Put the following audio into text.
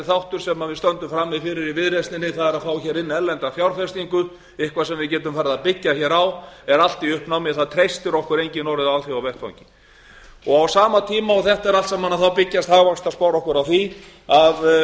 þáttur sem við stöndum frammi fyrir í viðreisninni er að fá hér erlenda fjárfestingu eitthvað sem við getum farið að byggja hér á er allt í uppnámi það treystir okkur enginn á alþjóðavettvangi á sama tíma og þetta er allt saman byggjast hagvaxtarspár okkur á því að við